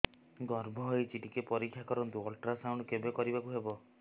ଗର୍ଭ ହେଇଚି ଟିକେ ପରିକ୍ଷା କରନ୍ତୁ ଅଲଟ୍ରାସାଉଣ୍ଡ କେବେ କରିବାକୁ ହବ